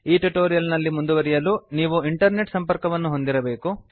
ಈ ಟ್ಯುಟೋರಿಯಲ್ ನಲ್ಲಿ ಮುಂದುವರಿಯಲು ನೀವು ಇಂಟರ್ನೆಟ್ ಸಂಪರ್ಕವನ್ನು ಹೊಂದಿರಬೇಕು